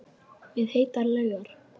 Við heitar laugar